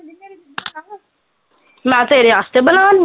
ਮੈਂ ਤੇਰੇ ਵਾਸਤੇ ਬਣਾਉਣ ਦੀ